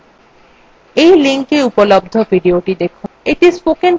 এই linkএ উপলব্ধ videothe দেখুন